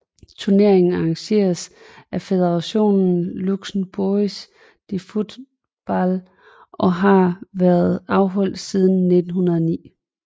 Turneringen arrangeres af Fédération Luxembourgoise de Football og har været afholdt siden år 1909